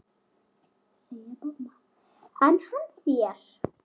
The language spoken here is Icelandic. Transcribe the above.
En hann sér.